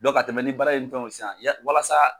Dɔn ka tɛmɛ ni baara ni fɛnw sisan ya walasa